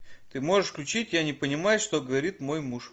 ты можешь включить я не понимаю что говорит мой муж